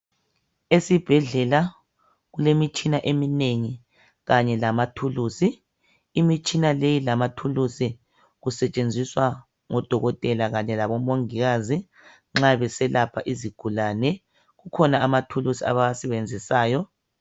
Esibhedlela kulemitshina eminengi kanye lamathulusi imitshina le lamathulusi kusetshenziswa ngodokotela kanye labo mongikazi nxa beselapha izigulane kukhona amathulusi abawasebenzisayo